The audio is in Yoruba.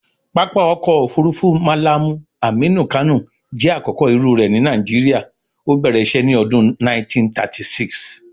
Pápá ọkọ̀ òfurufú Mallam Aminu Kano jẹ́ àkọ́kọ́ irú rẹ̀ ní Nigeria, ó bẹ̀rẹ̀ isé ní ọdún 1936.